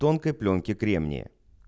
тонкой плёнки кремния